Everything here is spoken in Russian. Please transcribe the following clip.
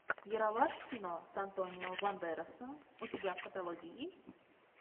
ералаш в кино с антонио бандерасом у тебя в каталоге есть